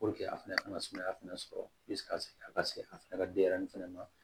a fɛnɛ kana sumaya fɛnɛ sɔrɔ a ka se a fɛnɛ ka denyɛrɛni fɛnɛ ma